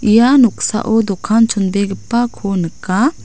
ia noksao dokan chonbegipako nika.